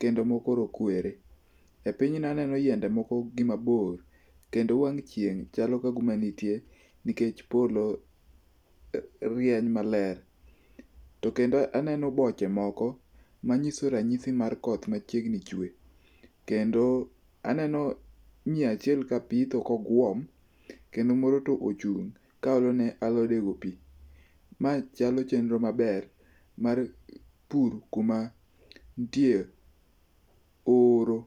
kendo moko rokwere. E pinyno aneno yiende moko gi mabor kendo wang' chieng' chalo ka guma nitie nikech polo rieny maler. To kendo aneno boche moko manyiso ranyisi mar koth machiegni chwe, kendo aneno miyachiel ka pitho kogwom. Kendo moro tochung' kaolo ne alodgo pi. Ma chalo chenro maber mar pur kuma nitie horo.